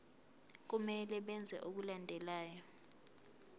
kumele benze okulandelayo